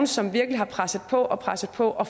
som virkelig har presset på og presset på og